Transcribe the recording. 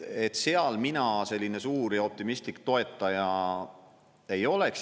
Seal mina selline suur ja optimistlik toetaja ei oleks.